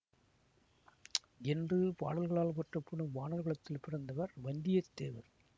என்று பாடல்களால் போற்றப்படும் வாணர் குலத்தில் பிறந்தவர் வந்தியத்தேவர்